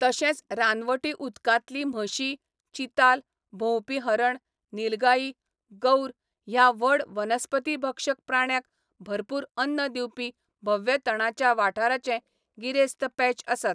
तशेंच रानवटी उदकांतली म्हशी, चिताल, भोंवपी हरण, निलगाई, गौर ह्या व्हड वनस्पतिभक्षक प्राण्यांक भरपूर अन्न दिवपी भव्य तणाच्या वाठाराचे गिरेस्त पॅच आसात.